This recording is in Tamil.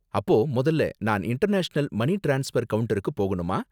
அப்போ முதல்ல, நான் இன்டர்நேஷனல் மனி ட்ரான்ஸ்பர் கவுண்டருக்கு போகணுமா?